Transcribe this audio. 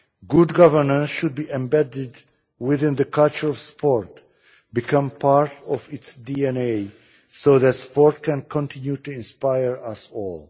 Good governance should be embedded within the culture of sport, become part of its DNA, so that sport can continue to inspire us all.